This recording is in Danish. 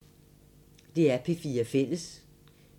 DR P4 Fælles